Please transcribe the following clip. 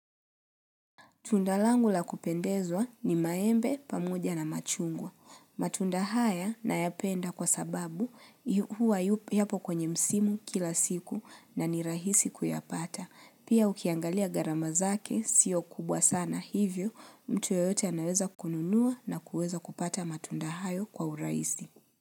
Tunda langu la kupendezwa ni maembe, pamoja na machungwa. Matunda haya nayapenda kwasababu yu huwa yu yapo kwenye msimu kila siku na ni rahisi kuyapata. Pia ukiangalia gharama zake siyo kubwa sana hivyo mtu yoyote anaweza kununua na kuweza kupata matunda hayo kwa urahisi.